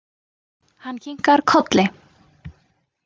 Hann kinkar kolli.